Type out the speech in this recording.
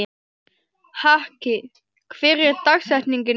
Haki, hver er dagsetningin í dag?